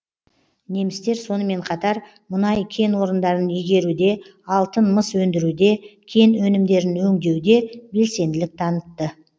немістер сонымен қатар мұнай кен орындарын игеруде алтын мыс өндіруде кен өнімдерін өндеуде белсенділік танытты